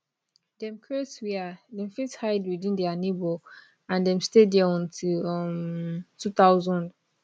dem create wia dem fit hide within dia neighbour and dem stay dia until um 2000